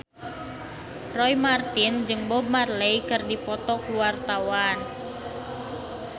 Roy Marten jeung Bob Marley keur dipoto ku wartawan